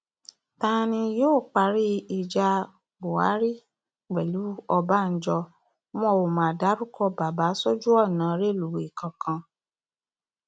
ta ni yóò parí ìjà buhari pẹlú ọbànjọ wọn ó ma dárúkọ bàbà sójú ọnà rélùwé kankan